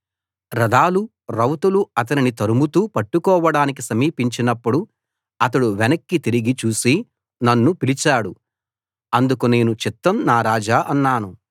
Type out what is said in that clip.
రథాలు రౌతులు అతనిని తరుముతూ పట్టుకోవడానికి సమీపించినప్పుడు అతడు వెనక్కి తిరిగి చూసి నన్ను పిలిచాడు అందుకు నేను చిత్తం నా రాజా అన్నాను